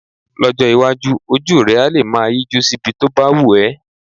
Lọ́jọ́ iwájú, ojú rẹ á lè máa yíjú síbi tó bá wù ẹ́